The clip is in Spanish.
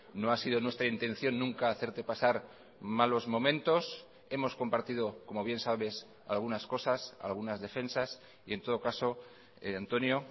no ha sido nuestra intención nunca hacerte pasar malos momentos hemos compartido como bien sabes algunas cosas algunas defensas y en todo caso antonio